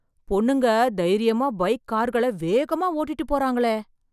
பொண்ணுங்க தைரியமா பைக், கார்களை வேகமாக ஓட்டிட்டுப் போறாங்களே..